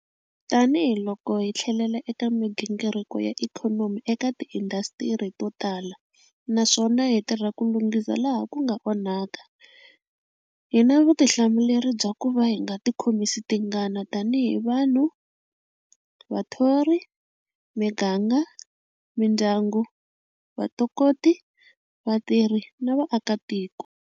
Tanihi loko hi tlhelela eka migingiriko ya ikhonomi eka tiindhasitiri to tala, naswona hi tirha ku lunghisa laha ku nga onhaka, hi na vutihlamuleri bya kuva hi nga ti khomisi tingana tanihi vanhu, vathori, miganga, mindyangu, vatokoti, vatirhi na vaakatiko.